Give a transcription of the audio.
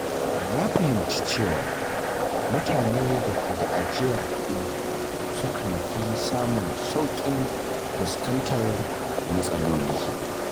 Na fahimci cewa mutane da ke da ajiyar kuɗi sukan fi samun sauƙin fuskantar matsaloli.